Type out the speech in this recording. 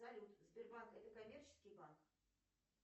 салют сбербанк это коммерческий банк